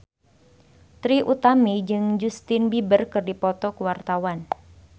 Trie Utami jeung Justin Beiber keur dipoto ku wartawan